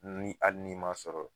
Ni ali n'i ma sɔrɔ